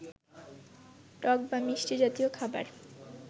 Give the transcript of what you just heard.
টক বা মিষ্টি জাতীয় খাবার